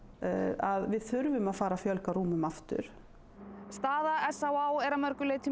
að við þurfum a ð fara að fjölga rúmum aftur staða s á á er að mörgu leyti